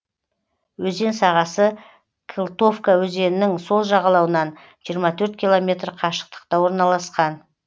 өзен сағасы кылтовка өзенінің сол жағалауынан жиырма төрт километр қашықтықта орналасқан